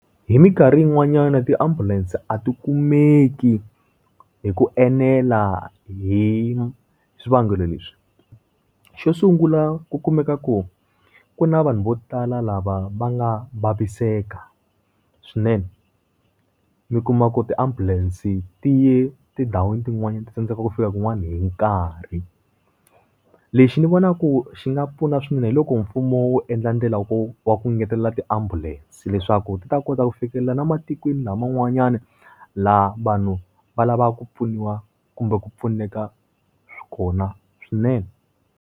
Hi minkarhi yin'wanyana ti ambulance a ti kumeki hi ku enela hi swivangelo leswi. Xo sungula ku kumeka ku ku na vanhu vo tala lava va nga vaviseka, swinene. Mi kuma ku ti ambulance ti ye tindhawini tin'wanyani ti tsandzeka ku fika kun'wana hi nkarhi. Lexi ni vonaka ku xi nga pfuna swinene hi loko mfumo wu endla ndlela wa ku wa ku ngetelela tiambulense, leswaku ti ta kota ku fikelela na matikweni laman'wanyani laha vanhu va lavaku ku pfuniwa kumbe ku pfuneka swi kona swinene.